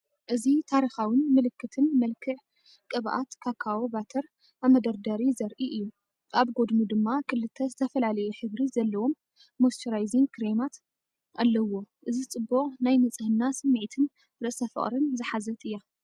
እዚ ታሪኻውን ምልክትን መልክዕ ቅበኣት ካካዎ ባተር ኣብ መደርደሪ ዘርኢ እዩ። ኣብ ጎድኑ ድማ ክልተ ዝተፈላለየ ሕብሪ ዘለዎም ሞይስቸራይዚንግ ክሬማት ኣለዉዎ። እዚ ፅቡቅ ናይ ንጽህና ስምዒትን ርእሰ-ፍቕሪን ዝሓዘት እያ።